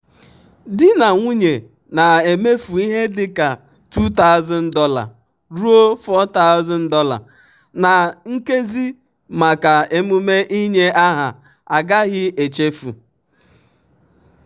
di na nwunye na-emefu ihe dị ka $2000 ruo $4000 na nkezi maka emume inye aha agaghị echefu.